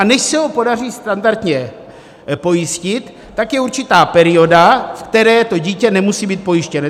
A než se ho podaří standardně pojistit, tak je určitá perioda, ve které to dítě nemusí být pojištěno.